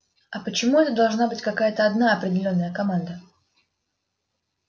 а почему это должна быть какая-то одна определённая команда